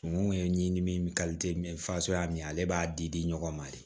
Kungo ye ɲimini fasoya min ye ale b'a di di ɲɔgɔn ma de